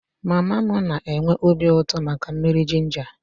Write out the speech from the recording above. Mama m na-enwe obi uto maka mmiri jinja